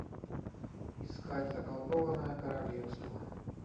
искать заколдованное королевство